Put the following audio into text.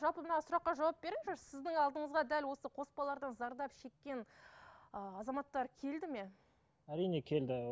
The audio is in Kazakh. жалпы мына сұраққа жауап беріңізші сіздің алдыңызға дәл осы қоспалардан зардап шеккен ыыы азаматтар келді ме әрине келді